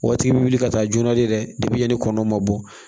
Waati bɛ wuli ka taa joona de ni kɔnɔ ma bɔ